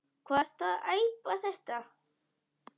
Hvað ertu að æpa þetta.